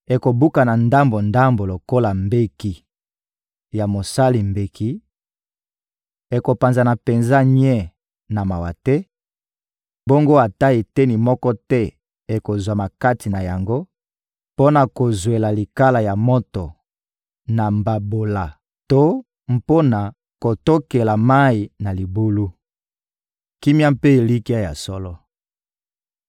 Ekobukana ndambo-ndambo lokola mbeki ya mosali mbeki, ekopanzana penza nye na mawa te; bongo ata eteni moko te ekozwama kati na yango mpo na kozwela likala ya moto na mbabola to mpo na kotokela mayi na libulu.» Kimia mpe elikya ya solo